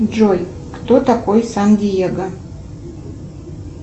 джой кто такой сан диего